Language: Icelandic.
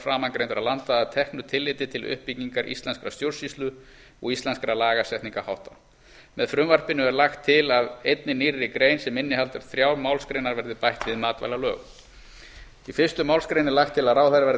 framangreindra landa að teknu tilliti til uppbyggingar íslenskrar stjórnsýslu og íslenskra lagasetningarhátta með frumvarpinu er lagt til að einni nýrri grein sem innihaldi þrjár málsgreinar verði bætt við matvælalög í fyrstu málsgrein er lagt til að ráðherra verði